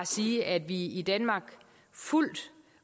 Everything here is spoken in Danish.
sige at vi i danmark fuldt